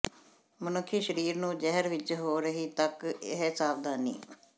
ਮਨੁੱਖੀ ਸਰੀਰ ਨੂੰ ਜ਼ਹਿਰ ਵਿੱਚ ਹੋ ਰਹੀ ਤੱਕ ਇਹ ਸਾਵਧਾਨੀ